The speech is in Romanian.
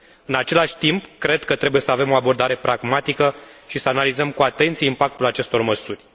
În același timp, cred că trebuie să avem o abordare pragmatică și să analizăm cu atenție impactul acestor măsuri.